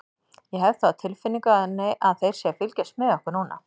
Ég hef það á tilfinningunni þeir séu að fylgjast með okkur núna.